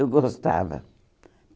Eu gostava.